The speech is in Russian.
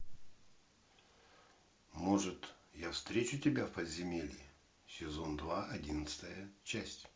может я встречу тебя в подземелье сезон два одиннадцатая часть